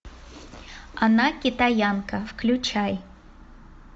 она китаянка включай